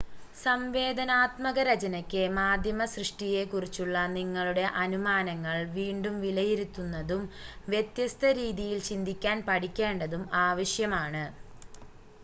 സംവേദനാത്മക രചനയ്‌ക്ക് മാധ്യമ സൃഷ്ടിയെക്കുറിച്ചുള്ള നിങ്ങളുടെ അനുമാനങ്ങൾ വീണ്ടും വിലയിരുത്തുന്നതും വ്യത്യസ്ത രീതിയിൽ ചിന്തിക്കാൻ പഠിക്കേണ്ടതും ആവശ്യമാണ്